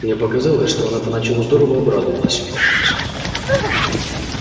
мне показалось что она поначалу здорово обрадовалась увидав нас